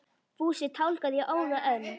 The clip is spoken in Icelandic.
Fúsi tálgaði í óða önn.